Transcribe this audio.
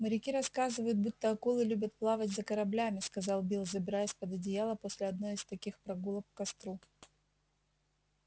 моряки рассказывают будто акулы любят плавать за кораблями сказал билл забираясь под одеяло после одной из таких прогулок к костру